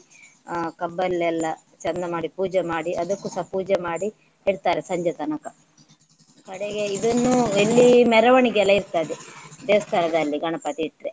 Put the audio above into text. ಆ ಕಬ್ಬಲೆಲ್ಲ ಚಂದ ಮಾಡಿ ಪೂಜೆ ಮಾಡಿ ಅದಕ್ಕೂಸ ಪೂಜೆ ಮಾಡಿ ಇಡ್ತಾರೆ ಸಂಜೆ ತನಕ ಕಡೆಗೆ ಇದನ್ನು ಇದನ್ನೂ ಇಲ್ಲಿ ಮೆರವಣಿಗೆ ಎಲ್ಲಾ ಇರ್ತದೆ ದೇವಸ್ಥಾನದಲ್ಲಿ ಗಣಪತಿ ಇಟ್ರೆ.